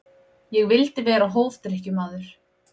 Ég vildi vera hófdrykkjumaður.